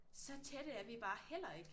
Så tætte er vi bare heller ikke